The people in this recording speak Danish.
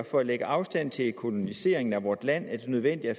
for at lægge afstand til koloniseringen af vort land er det nødvendigt at